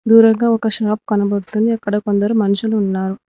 దూరంగా ఒక షాప్ కనపడ్తుంది అక్కడ కొందరు మనుషులు ఉన్నారు.